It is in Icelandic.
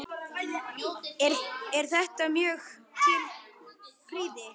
Er þetta mjög til prýði.